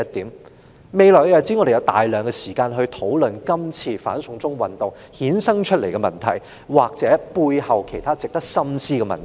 在未來的日子，我們有大量時間討論今次"反送中"運動衍生出的問題，或背後其他值得深思的問題。